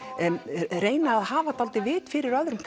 reyni að hafa vit fyrir öðrum